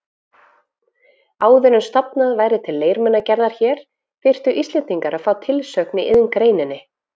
Áður en stofnað væri til leirmunagerðar hér, þyrftu Íslendingar að fá tilsögn í iðngreininni.